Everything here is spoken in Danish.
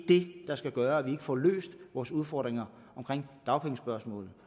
det der skal gøre at vi ikke får løst vores udfordringer i dagpengespørgsmålet